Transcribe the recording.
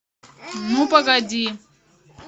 ну погоди